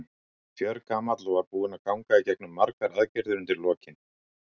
Varð fjörgamall og var búinn að ganga í gegnum margar aðgerðir undir lokin.